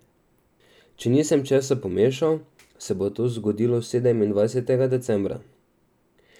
Če nisem česa pomešal, se bo to zgodilo sedemindvajsetega decembra.